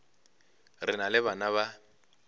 re na le bana ba